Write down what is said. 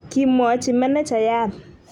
kimwochi menejayat